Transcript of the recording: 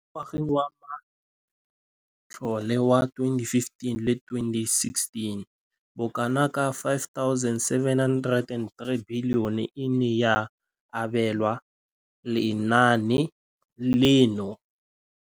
Mo ngwageng wa matlole wa 2015,16, bokanaka R5 703 bilione e ne ya abelwa lenaane leno.